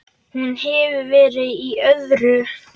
Hún hefur verið í öðru.